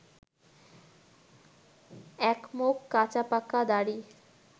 একমুখ কাঁচাপাকা দাড়ি